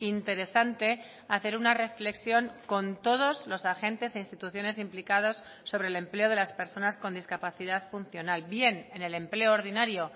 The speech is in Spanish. interesante hacer una reflexión con todos los agentes e instituciones implicados sobre el empleo de las personas con discapacidad funcional bien en el empleo ordinario